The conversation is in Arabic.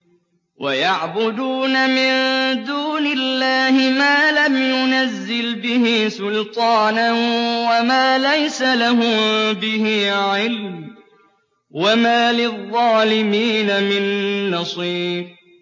وَيَعْبُدُونَ مِن دُونِ اللَّهِ مَا لَمْ يُنَزِّلْ بِهِ سُلْطَانًا وَمَا لَيْسَ لَهُم بِهِ عِلْمٌ ۗ وَمَا لِلظَّالِمِينَ مِن نَّصِيرٍ